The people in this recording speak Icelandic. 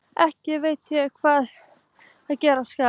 Ekki veit ég hvað gera skal.